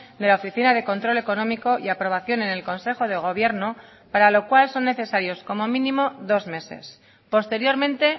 de la oficina de control económico y aprobación en el consejo de gobierno para lo cual son necesarios como mínimo dos meses posteriormente